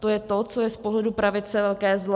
To je to, co je z pohledu pravice velké zlo.